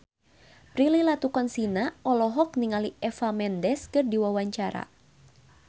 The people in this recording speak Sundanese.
Prilly Latuconsina olohok ningali Eva Mendes keur diwawancara